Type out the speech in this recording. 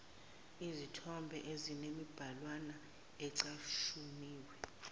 zezithombe ezinemibhalwana ecashuniwe